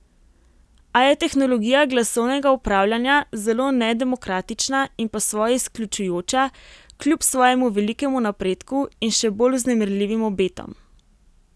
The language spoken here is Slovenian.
A je tehnologija glasovnega upravljanja zelo nedemokratična in po svoje izključujoča kljub svojemu velikemu napredku in še bolj vznemirljivim obetom.